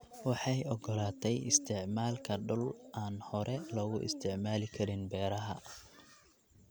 Waxay ogolaatay isticmaalka dhul aan hore loogu isticmaali karin beeraha.